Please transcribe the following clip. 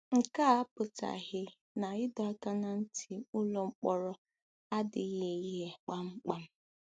Nke a a apụtaghị na ịdọ aka ná ntị n'ụlọ mkpọrọ adịghị ghị kpamkpam.